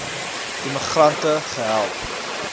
immi grante gehelp